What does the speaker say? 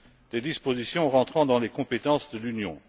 des dispositions rentrant dans les compétences de l'Union.